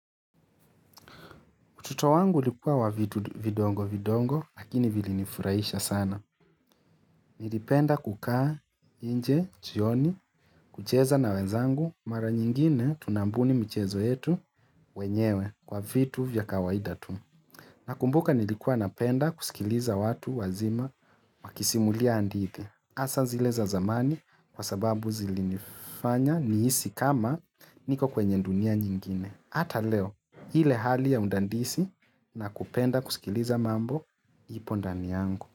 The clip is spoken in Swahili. Utoto wangu ulikuwa wa vitu vidongo vidongo lakini vili nifurahisha sana. Nilipenda kukaa nje, chioni, kucheza na wenzangu mara nyingine tunambuni mchezo yetu wenyewe kwa vitu vya kawaida tu. Nakumbuka nilikuwa napenda kusikiliza watu wazima wakisimulia handithi. Asa zile za zamani kwa sababu zilinifanya nihisi kama niko kwenye dunia nyingine. Hata leo ile hali ya undandisi na kupenda kusikiliza mambo ipo ndani yangu.